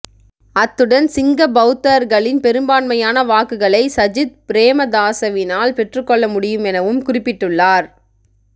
அத்துடன் சிங்க பௌத்தர்களின் பெரும்பான்மையான வாக்குகளை சஜித் பிரேமதாசவினால் பெற்றுக்கொள்ள முடியும் எனவும் குறிப்பிட்டுள்ளார்